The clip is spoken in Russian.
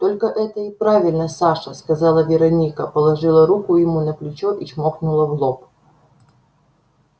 только это и правильно саша сказала вероника положила руку ему на плечо и чмокнула в лоб